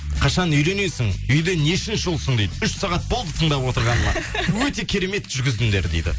қашан үйленесің үйде нешінші ұлсың дейді үш сағат болды тыңдап отырғаныма өте керемет жүргіздіңдер дейді